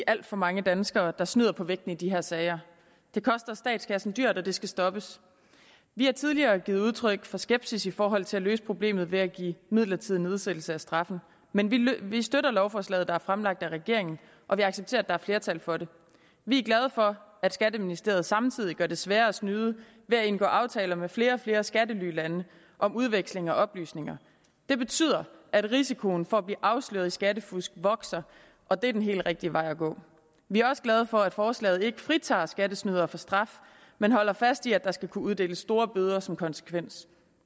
alt for mange danskere der snyder på vægten i de her sager det koster statskassen dyrt og det skal stoppes vi har tidligere givet udtryk for skepsis i forhold til at løse problemet ved at give midlertidig nedsættelse af straffen men vi støtter lovforslaget der er fremsat af regeringen og vi accepterer at der er flertal for det vi er glade for at skatteministeriet samtidig gør det sværere at snyde ved at indgå aftaler med flere og flere skattelylande om udveksling af oplysninger det betyder at risikoen for at blive afsløret i skattefusk vokser og det er den helt rigtige vej at gå vi er også glade for at forslaget ikke fritager skattesnydere for straf men holder fast i at der skal kunne uddeles store bøder som konsekvens